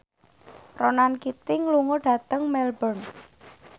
Ronan Keating lunga dhateng Melbourne